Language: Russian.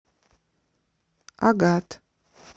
агат